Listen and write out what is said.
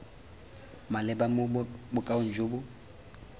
maleba mo bokaong jo bo